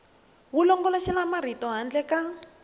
wu longoloxela marito handle ka